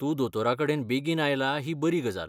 तूं दोतोराकडेन बेगीन आयला ही बरी गजाल.